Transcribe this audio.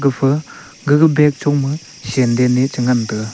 pha aga bag choma senden e cha ngan taga.